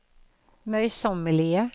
møysommelige